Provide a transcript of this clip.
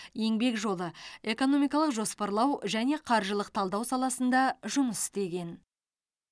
еңбек жолы экономикалық жоспарлау және қаржылық талдау саласында жұмыс істеген